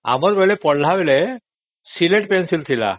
ଆମର ପଢିଲାବେଳେ ସିଲଟ ପେନସିଲ ଥିଲା